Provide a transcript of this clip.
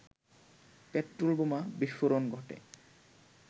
petrol বোমা বিস্ফোরণ ঘটে